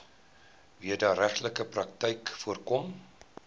wederregtelike praktyke voorkom